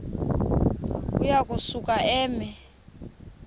uya kusuka eme